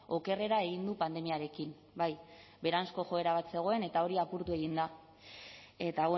okerrera egin du pandemiarekin bai beheranzko joera bat zegoen eta hori apurtu egin da eta